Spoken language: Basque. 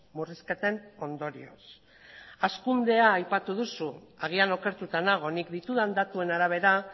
murrizketen ondorioz hazkundea aipatu duzu agian okertuta nago nik ditudan datuen arabera